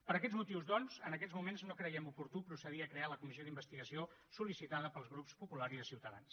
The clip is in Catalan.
per aquests motius doncs en aquests moments no creiem oportú procedir a crear la comissió d’investigació sol·licitada pels grups popular i de ciutadans